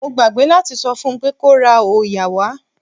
Mo gbàgbé láti sọ fún pé kó ra òòyà wá.